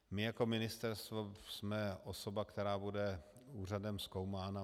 My jako ministerstvo jsme osoba, která bude úřadem zkoumána.